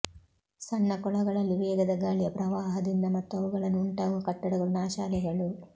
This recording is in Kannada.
ಸಣ್ಣ ಕೊಳಗಳಲ್ಲಿ ವೇಗದ ಗಾಳಿಯ ಪ್ರವಾಹದಿಂದ ಮತ್ತು ಅವುಗಳನ್ನು ಉಂಟಾಗುವ ಕಟ್ಟಡಗಳು ನಾಶ ಅಲೆಗಳು